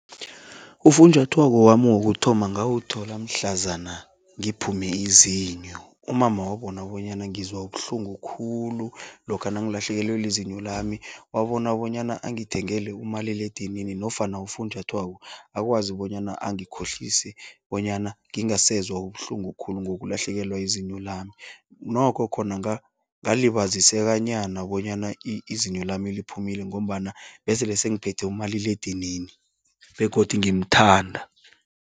Ufunjathwako wami wokuthoma ngawuthola mhlazana ngiphume izinyo. Umama wabona bonyana ngizwa ubuhlungu khulu lokha nangilahlekelwe lizinyo lami, wabona bonyana angithengele umaliledinini nofana ufunjathwako akwazi bonyana angikhohlise bonyana ngingasezwa ubuhlungu khulu ngokulahlekelwa yizinyo lami. Nokho khona ngalibazisekanyana bonyana izinyo lami liphumile ngombana besele sengiphethe umaliledinini begodu ngimthanda.